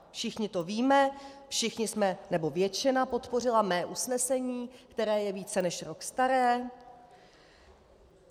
Všichni to víme, všichni jsme... nebo většina podpořila mé usnesení, které je více než rok staré.